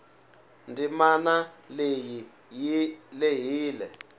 ndzimanaleyi yilehile